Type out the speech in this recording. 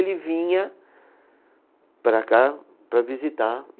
vinha para cá para visitar.